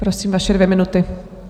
Prosím, vaše dvě minuty.